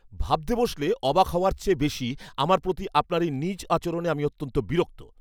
ভাবতে বসলে, অবাক হওয়ার চেয়েও বেশি, আমার প্রতি আপনার এই নীচ আচরণে আমি অত্যন্ত বিরক্ত।